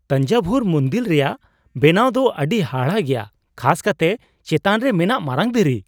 ᱛᱟᱧᱡᱟᱵᱷᱩᱨ ᱢᱩᱱᱫᱤᱞ ᱨᱮᱭᱟᱜ ᱵᱮᱱᱟᱣ ᱫᱚ ᱟᱹᱰᱤ ᱦᱟᱦᱟᱲᱟᱜ ᱜᱮᱭᱟ, ᱠᱷᱟᱥ ᱠᱟᱛᱮ ᱪᱮᱛᱟᱱ ᱨᱮ ᱢᱮᱱᱟᱜ ᱢᱟᱨᱟᱝ ᱫᱷᱤᱨᱤ ᱾